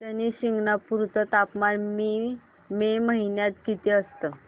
शनी शिंगणापूर चं तापमान मे महिन्यात किती असतं